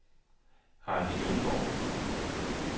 Hardy Lynggaard